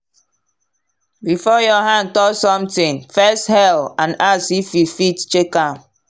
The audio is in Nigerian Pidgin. before your hand touch something first hail and ask if you fit check am.